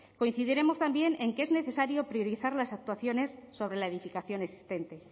coincidiremos también en que es necesario priorizar las actuaciones sobre la edificación existente